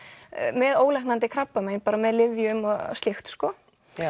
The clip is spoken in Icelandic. með ólæknandi krabbamein bara með lyfjum og slíkt sko